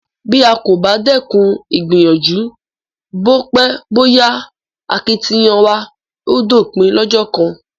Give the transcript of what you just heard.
Bí a kò bá dẹ́kun ìgbìyànjú, bó pẹ́ bó yá akitiyan wa á dópin lọ́jọ́ kan.